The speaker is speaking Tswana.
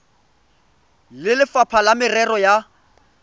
le lefapha la merero ya